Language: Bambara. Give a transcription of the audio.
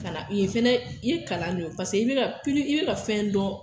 Kana i ye fɛnɛ i ye kalan ne ye o paseke i be ka pili i be ka fɛn dɔn